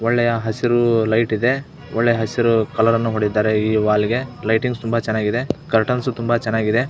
ಒಳ್ಳೆಯ ಹಸಿರು ಲೈಟ್ ಇದೆ ಒಳ್ಳೆ ಹಸಿರು ಕಲರ್ ಅನ್ನು ಹೊಡೆದ್ದಿದ್ದಾರೆ ಈ ವಾಲಗೆ ಲೈಟಿಂಗ್ಸ್ ತುಂಬಾ ಚನ್ನಾಗಿದೆ ಕರ್ಟನ್ಸ್ ತುಂಬಾ ಚನ್ನಾಗಿದೆ.